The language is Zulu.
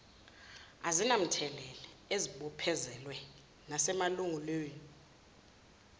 akunamthelela ezibophezelweni nasemalungelweni